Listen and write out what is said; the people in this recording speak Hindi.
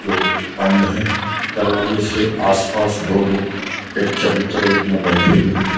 जो बंद है दरवाजे से आसपास दो लोग एक चबूतरे में बैठे हुए हैं।